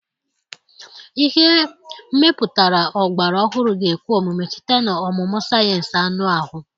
Ihe mepụtara ọgbara ọhụrụ ga-ekwe omume site na ọmụmụ sayensị anụ ahụ.